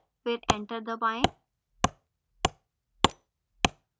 फिर enter दबाएँ